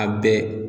A bɛɛ